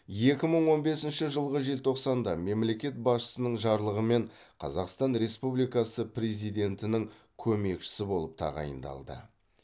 екі мың он бесінші жылғы желтоқсанда мемлекет басшысының жарлығымен қазақстан республикасы президентінің көмекшісі болып тағайындалды